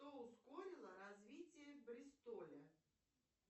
что ускорило развитие бристоля